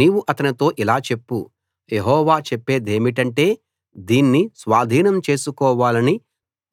నీవు అతనితో ఇలా చెప్పు యెహోవా చెప్పేదేమిటంటే దీన్ని స్వాధీనం చేసుకోవాలని